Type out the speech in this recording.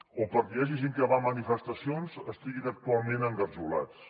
o perquè hi hagi gent que va a manifestacions estiguin actualment engarjolats